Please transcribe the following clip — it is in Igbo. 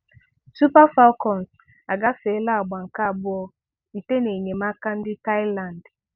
Super Falcons agàfèèlà àgbà nke abụọ site n’enyemàka ndị Thailand.